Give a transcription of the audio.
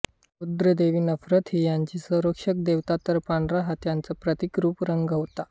गृध्रदेवी नरब्ब्त ही यांची संरक्षक देवता तर पांढरा हा त्यांचा प्रतीकरूप रंग होता